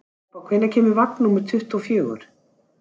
Bobba, hvenær kemur vagn númer tuttugu og fjögur?